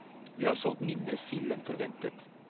Vi har solgt mindre sild enn forventet.